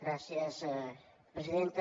gràcies presidenta